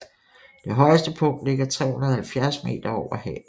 Det højeste punkt ligger 370 meter over havet